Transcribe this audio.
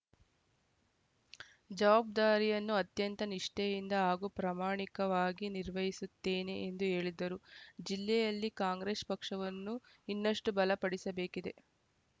ಜವಾಬ್ದಾರಿಯನ್ನು ಅತ್ಯಂತ ನಿಷ್ಠೆಯಿಂದ ಹಾಗೂ ಪ್ರಾಮಾಣಿಕವಾಗಿ ನಿರ್ವಹಿಸುತ್ತೇನೆ ಎಂದು ಹೇಳಿದರು ಜಿಲ್ಲೆಯಲ್ಲಿ ಕಾಂಗ್ರೆಸ್‌ ಪಕ್ಷವನ್ನು ಇನ್ನಷ್ಟುಬಲ ಪಡಿಸಬೇಕಿದೆ